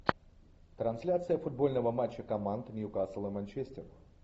трансляция футбольного матча команд ньюкасл и манчестер